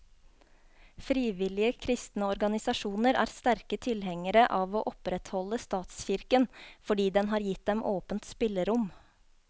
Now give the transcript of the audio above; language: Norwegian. Frivillige kristne organisasjoner er sterke tilhengere av å opprettholde statskirken, fordi den har gitt dem åpent spillerom.